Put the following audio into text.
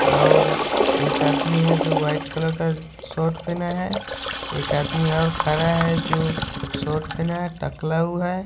और एक आदमी है जो वाइट कलर का शर्ट पहना है। एक आदमी और खड़ा है जो शर्ट पहना है टकला हुआ है।